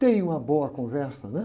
Tem uma boa conversa, né?